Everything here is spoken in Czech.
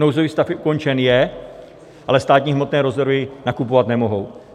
Nouzový stav ukončen je, ale státní hmotné rezervy nakupovat nemohou.